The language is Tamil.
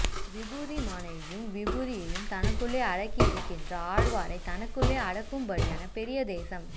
விபூதிமானையையும் விபூதியையும் தமக்குள்ளே அடக்கி இருக்கிற ஆழ்வாரைத் தனக்குள்ளே அடக்கும்படியான பெரிய தேசம்